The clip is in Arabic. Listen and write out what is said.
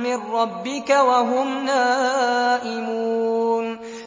مِّن رَّبِّكَ وَهُمْ نَائِمُونَ